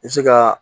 I bɛ se ka